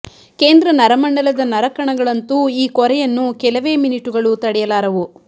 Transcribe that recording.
ಕೇಂದ್ರ ನರ ಮಂಡಲದ ನರಕಣಗಳಂತೂ ಈ ಕೊರೆಯನ್ನು ಕೆಲವೇ ಮಿನಿಟುಗಳು ತಡೆಯಲಾರವು